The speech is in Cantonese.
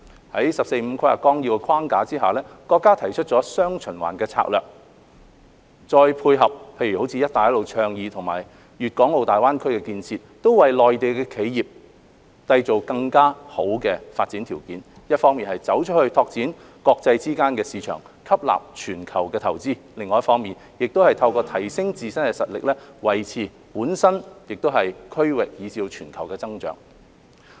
在《十四五規劃綱要》的框架下，國家提出了"雙循環"策略，再配合如"一帶一路"倡議及粵港澳大灣區建設，為內地企業締造更好的發展條件，一方面"走出去"拓展國際間的市場，吸納全球的投資，另一方面透過提升自身的實力，維持本身、區域，以至全球的經濟增長。